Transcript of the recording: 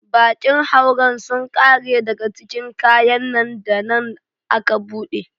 Bakin hauren sun kare daga cikin kayan nan da nan aka bude.